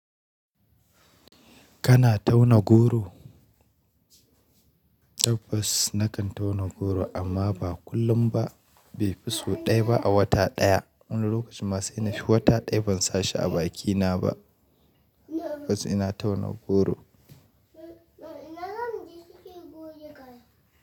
Kana tauna goro? Tabbas na kan tauna goro amma ba kullum ba. Bai fi so ɗaya ba a wata ɗaya. Wani lokacin ma sai na fi wata ɗaya ban sashi a bakina ba. Fas ina tauna goro.